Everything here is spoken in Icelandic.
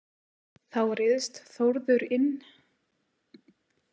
Þá ryðst Þórður inn.